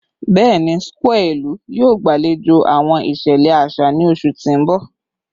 Bẹẹni, square ilu yoo gbalejo awọn iṣẹlẹ aṣa ni oṣu ti n bọ